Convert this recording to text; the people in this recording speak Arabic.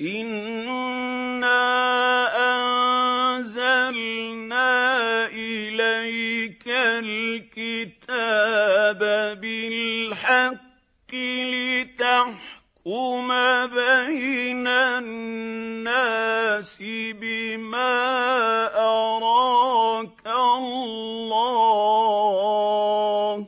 إِنَّا أَنزَلْنَا إِلَيْكَ الْكِتَابَ بِالْحَقِّ لِتَحْكُمَ بَيْنَ النَّاسِ بِمَا أَرَاكَ اللَّهُ ۚ